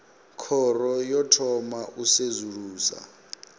khoro yo thoma u sedzulusa